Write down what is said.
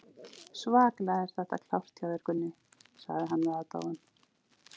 Svakalega er þetta klárt hjá þér, Gunni, sagði hann með aðdáun.